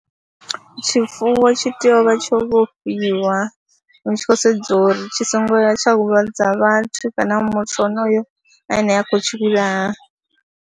Tshifuwo tshi tea u vha tsho vhofhiwa hu tshi khou sedziwa uri tshi songo ya tsha huvhadza vhathu kana muthu honoyo ane a khou tshi vhulaha.